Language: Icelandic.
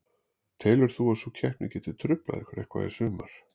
Telur þú að sú keppni geti truflað ykkur eitthvað í sumar?